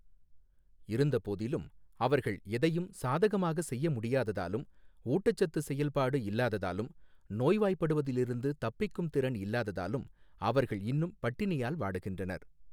இருந்தபோதிலும், அவர்கள் எதையும் சாதகமாக செய்ய முடியாததாலும், ஊட்டச்சத்து செயல்பாடு இல்லாததாலும், நோய்வாய்ப்படுவதிலிருந்து தப்பிக்கும் திறன் இல்லாததாலும் அவர்கள் இன்னும் பட்டினியால் வாடுகின்றனர்.